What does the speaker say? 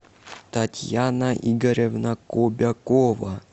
татьяна игоревна кобякова